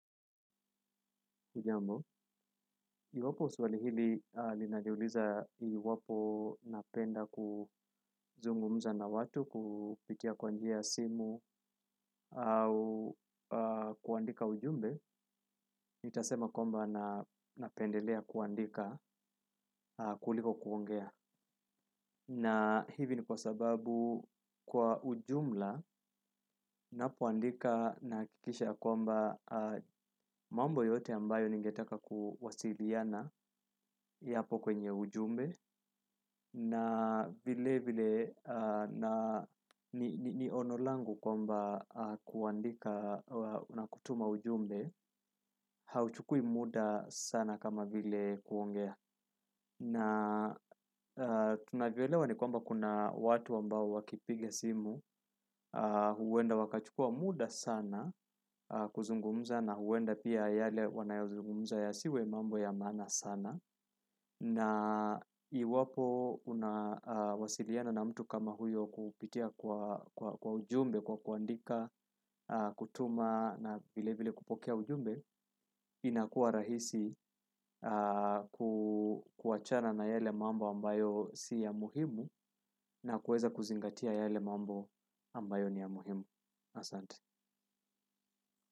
Hujambo iwapo swali hili linaniuliza iwapo napenda kuzungumza na watu kupitia kwa njia simu au kuandika ujumbe, nitasema kwamba napendelea kuandika kuliko kuongea. Na hivi ni kwa sababu kwa ujumla, ninapoandika nahakikisha kwamba mambo yote ambayo ningetaka kuwasiliana yapo kwenye ujumbe, na vile vile ni ono langu kwamba kuandika na kutuma ujumbe hauchukui muda sana kama vile kuongea, na tunavyoelewa ni kwamba kuna watu ambao wakipiga simu huenda wakachukua muda sana kuzungumza na huenda pia yale wanayozungumza yasiwe mambo ya maana sana na iwapo unawasiliana na mtu kama huyo kupitia kwa ujumbe, kwa kuandika kutuma na vile vile kupokea ujumbe, inakuwa rahisi kuachana na yale mambo ambayo si ya muhimu na kuweza kuzingatia yale mambo ambayo ni ya muhimu. Asante.